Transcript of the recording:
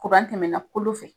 tɛmɛna kolo fɛ.